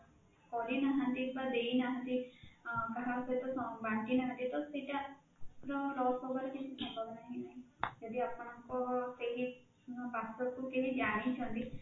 କରିନାହାନ୍ତି ବା ଦେଇନାହାନ୍ତି ଅଁ କାହା ସହିତ ବାଣ୍ଟି ନାହାନ୍ତି ତ ସେଇଟା ଆପଣଙ୍କର loss ହବାର କିଛି ସମ୍ଭାବନା ନାହିଁ ଆପଣଙ୍କ କେହି password କୁ ଜାଣିଛନ୍ତି